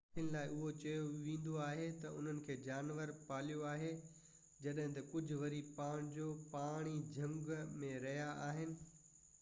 ڪافين لاءِ اهو چيو ويندو آهي ته انهن کي جانورن پاليوآهي جڏهن ته ڪجهہ وري پنهنجو پاڻ ئي جهنگ ۾ رهيا آهن